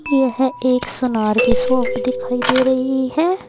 यह एक सुनार की शॉप दिखाई दे रही है।